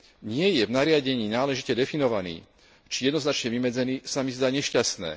nie je v nariadení náležite definovaný či jednoznačne vymedzený, sa mi zdá nešťastné.